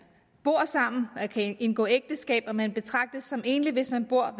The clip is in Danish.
bor sammen og kan indgå ægteskab og man betragtes som enlig hvis man bor